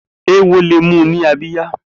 Éwó lé mù ni àbiyá